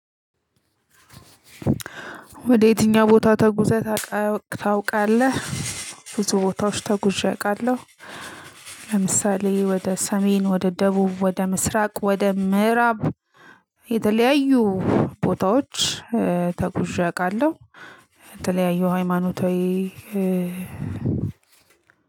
ወደ የትኛው? ቦታ ተጉዘህ ታውቃለህ ብዙ ቦታዎች ተጉዤ አውቃለሁ። ለምሳሌ ወደ ሰሜን ወደ ደቡብ ወደ ምስራቅ ወደ ምዕራብ የተለያዩ ቦታዎች እ ተጉዤ አውቃለሁ። የተለያዩ ሃይማኖታዊ እ